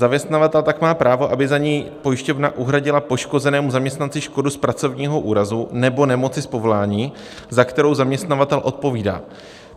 Zaměstnavatel tak má právo, aby za něj pojišťovna uhradila poškozenému zaměstnanci škodu z pracovního úrazu nebo nemoci z povolání, za kterou zaměstnavatel odpovídá.